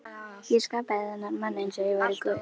Ég skapaði þennan mann einsog ég væri guð.